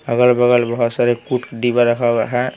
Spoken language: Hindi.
अगल-बगल बहुत सारे रखा हुआ है .